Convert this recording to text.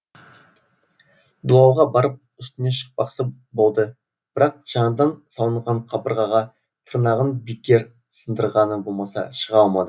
дуалға барып үстіне шықпақшы болды бірақ жаңадан салынған қабырғаға тырнағын бекер сындырғаны болмаса шыға алмады